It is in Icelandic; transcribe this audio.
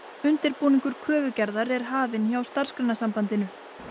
undirbúningur kröfugerðar er hafinn hjá Starfsgreinasambandinu